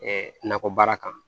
nakɔbaara kan